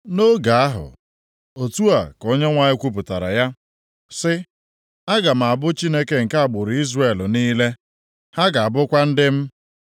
“Nʼoge ahụ,” otu a ka Onyenwe anyị kwupụtara ya, sị, “Aga m abụ Chineke nke agbụrụ Izrel niile. Ha ga-abụkwa ndị m.”